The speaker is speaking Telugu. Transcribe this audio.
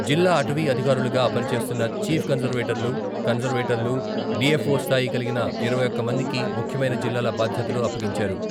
జిల్లా అటవీ అధికారులుగా పని చేస్తున్న చీఫ్ కన్జర్వేటర్లు, కన్జర్వేటర్లు, డిఎఫ్ఓ స్థాయి కలిగిన ఇరవై ఒక్క మందికి ముఖ్యమైన జిల్లాల బాధ్యతలు అప్పగించారు.